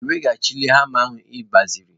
Ị weghachila hama ị gbaziri?